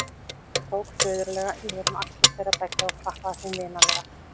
Hann tók föðurlega yfir um axlir þeirra beggja og klappaði þeim vinalega.